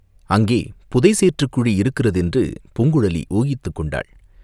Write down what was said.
அங்கே புதை சேற்றுக் குழி இருக்கிறதென்று பூங்குழலி ஊகித்துக் கொண்டாள்.